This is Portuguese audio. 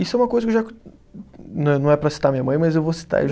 Isso é uma coisa não não é para citar minha mãe, mas eu vou citar.